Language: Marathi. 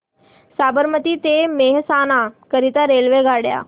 साबरमती ते मेहसाणा करीता रेल्वेगाड्या